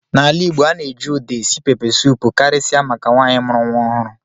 N'ala Igbo, a na-eji Uda esi pepesụpụ karịsịa maka nwaanyị mụrụ nwa ọhụrụ.